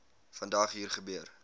vandag hier gebeur